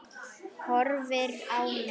Horfir á mig.